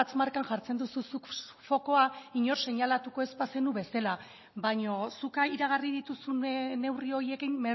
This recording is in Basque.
markan jartzen duzu zuk fokua inork seinalatuko ez bazenu bezala baino zuk iragarri dituzun neurri horiekin